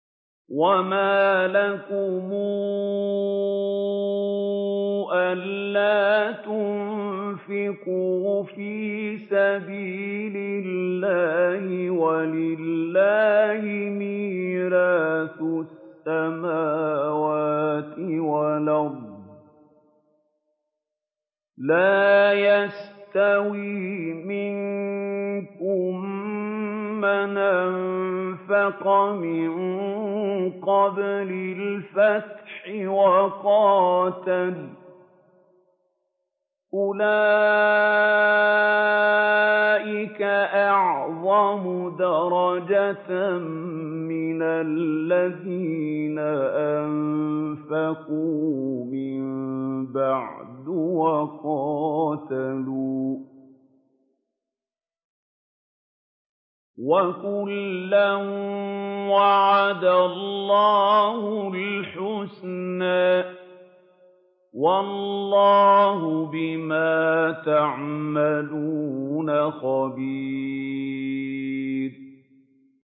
وَمَا لَكُمْ أَلَّا تُنفِقُوا فِي سَبِيلِ اللَّهِ وَلِلَّهِ مِيرَاثُ السَّمَاوَاتِ وَالْأَرْضِ ۚ لَا يَسْتَوِي مِنكُم مَّنْ أَنفَقَ مِن قَبْلِ الْفَتْحِ وَقَاتَلَ ۚ أُولَٰئِكَ أَعْظَمُ دَرَجَةً مِّنَ الَّذِينَ أَنفَقُوا مِن بَعْدُ وَقَاتَلُوا ۚ وَكُلًّا وَعَدَ اللَّهُ الْحُسْنَىٰ ۚ وَاللَّهُ بِمَا تَعْمَلُونَ خَبِيرٌ